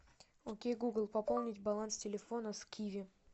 окей гугл пополнить баланс телефона с киви